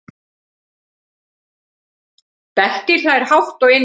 Bettý hlær hátt og innilega.